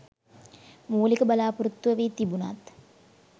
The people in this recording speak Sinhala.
මූලික බලාපොරොත්තුව වී තිබුණත්